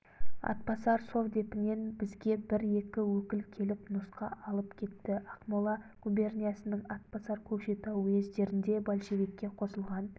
атбасар совдепінен бізге бір-екі өкіл келіп нұсқа алып кетті ақмола губерниясының атбасар көкшетау уездерінде большевикке қосылған